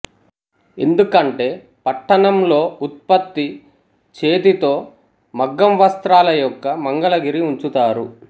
ఎందుకంటే పట్టణంలో ఉత్పత్తి చేతితో మగ్గం వస్త్రాల యొక్క మంగళగిరి ఉంచుతారు